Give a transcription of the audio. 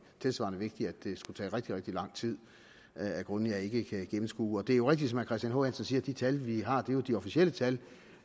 tilsvarende vigtigt at det skulle tage rigtig rigtig lang tid af grunde jeg ikke kan gennemskue det er rigtigt som herre christian h hansen siger at de tal vi har jo er de officielle tal